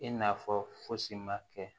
I n'a fɔ fosi ma kɛ